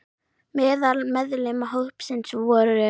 Meðal meðlima hópsins voru